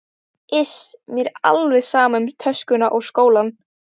Iss, mér er alveg sama um töskuna og skólann